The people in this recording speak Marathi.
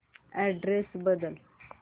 अॅड्रेस बदल